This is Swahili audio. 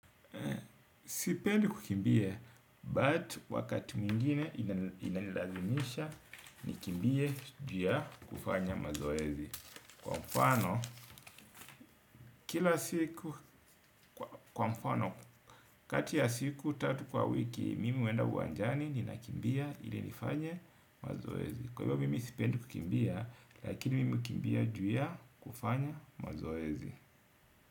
Sipendi kukimbia but wakati mwingine inanilazimisha nikimbie juu ya kufanya mazoezi. Kwa mfano kila siku kati ya siku tatu kwa wiki mimi huenda uwanjani ninakimbia ili nifanye mazoezi. Kwa hivyo mimi sipendi kukimbia lakini mimi hukimbia juu ya kufanya mazoezi.